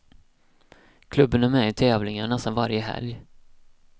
Klubben är med i tävlingar nästan varje helg.